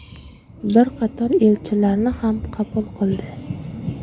Bir qator elchilarni ham qabul qildi.